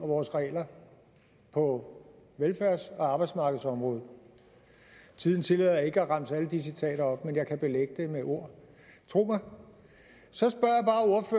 vores regler på velfærds og arbejdsmarkedsområdet tiden tillader ikke at jeg remser alle de citater op men jeg kan belægge det med ord tro mig så